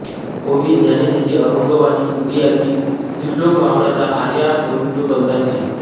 ओवी ज्ञानेशाची अभंगवाणी तुकयाची सुश्लोक वामनाचा आर्या मयूरपंतांची